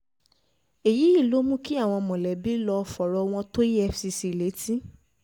um èyí ló mú kí àwọn mọ̀lẹ́bí lọ́ọ́ fọ̀rọ̀ wọn tó efcc um létí